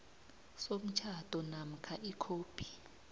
somtjhado namkha ikhophi